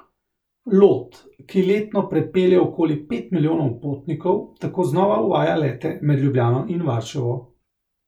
Lot, ki letno prepelje okoli pet milijonov potnikov, tako znova uvaja lete med Ljubljano in Varšavo.